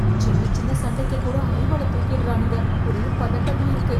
சின்ன சின்ன சண்டைக்கு கூட அரிவாளை தூக்கிடறானுங்க, ஒரே பதட்டமா இருக்கு.